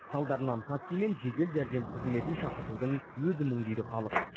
салдарынан такси мен жедел жәрдем қызметін шақыртудың өзі мұң дейді халық